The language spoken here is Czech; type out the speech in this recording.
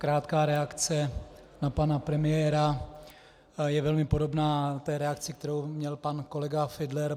Krátká reakce na pana premiéra, je velmi podobná té reakci, kterou měl pan kolega Fiedler.